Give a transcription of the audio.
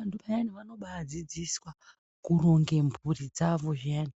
Vanhu vayane vanoba adzidziswa kuronge mhuri dzawo zviyani